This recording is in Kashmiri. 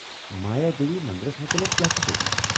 مایا دیوی مندرس متعلِق کیٛاہ چُھے ژےٚ وَنُن؟